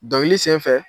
Dɔnkili senfɛ